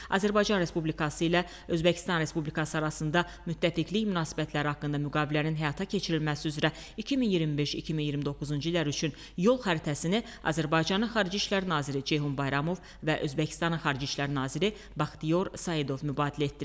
Azərbaycan Respublikası ilə Özbəkistan Respublikası arasında müttəfiqlik münasibətləri haqqında müqavilənin həyata keçirilməsi üzrə 2025-2029-cu illər üçün yol xəritəsini Azərbaycanın Xarici İşlər naziri Ceyhun Bayramov və Özbəkistanın Xarici İşlər naziri Baxtiyor Saidov mübadilə etdilər.